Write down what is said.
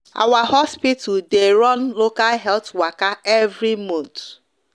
our hospital the run local health waka every month